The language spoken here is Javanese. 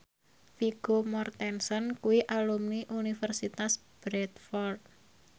Vigo Mortensen kuwi alumni Universitas Bradford